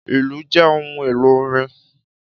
Ìlù jẹ ohun elo orin.